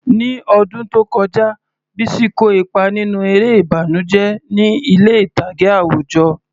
Ní ọdún tó kọjá, Bisi kó ipa nínú eré ìbànújẹ́ ní ilé ìtàgé àwùjọ.